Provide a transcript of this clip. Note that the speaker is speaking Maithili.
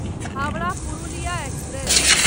हावड़ा पुरुलिया एक्सप्रेस